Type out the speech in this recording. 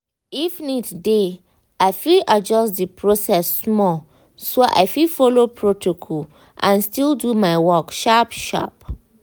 if need dey i fit adjust the process small so i fit follow protocol and still do my work sharp-sharp.